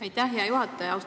Aitäh, hea juhataja!